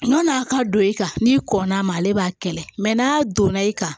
Ɲɔn'a ka don i kan n'i kɔnn'a ma ale b'a kɛlɛ mɛ n'a donna i kan